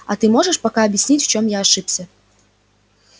а ты можешь пока объяснить в чем я ошибся